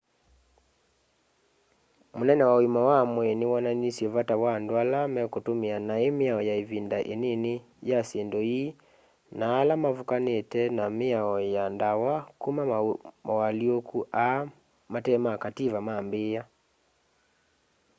munene wa uima wa mwii ni wonanisye vata wa andu ala mekutumia nai miao ya ivinda inini ya syindu ii na ala mavukanite na miao ya ndawa kuma mawalyuku aa mate ma kativa maambia